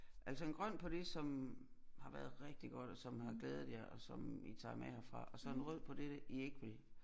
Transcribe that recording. Altså en grøn på det som har været rigtig godt og som har glædet jer og som I tager med herfra og så en rød på dette I ikke vil